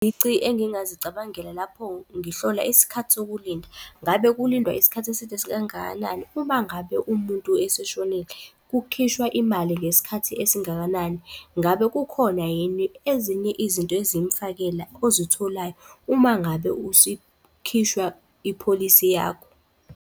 Izici engingazicabangela lapho ngihlola isikhathi sokulinda, ngabe kulindwa isikhathi eside sikangakanani uma ngabe umuntu eseshonile? Kukhishwa imali ngesikhathi esingakanani? Ngabe kukhona yini ezinye izinto ezimfakela ozitholayo uma ngabe isikhishwa ipholisi yakho?